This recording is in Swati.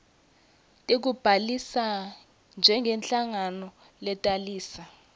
tekubhalisa njengenhlangano letalisa